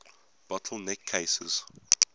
bottle neck cases